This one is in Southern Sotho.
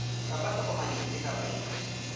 kapa tokomane efe kapa efe